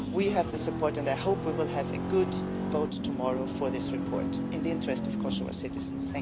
We have the support, and I hope we will have a good vote tomorrow for this report in the interest of Kosovo's citizens.